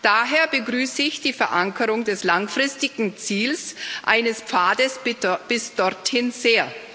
Daher begrüße ich die Verankerung des langfristigen Ziels eines Pfades bis dorthin sehr.